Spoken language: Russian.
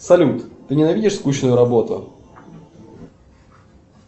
салют ты ненавидишь скучную работу